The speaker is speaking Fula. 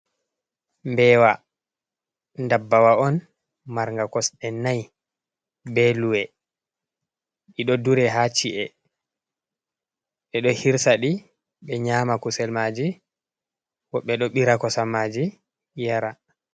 Bewa dabbawa on marnga kosde dai be luwe, di do dure ha ci’e, be do hirsadi be nyama kusel maji wo be do bira kosamaji yara.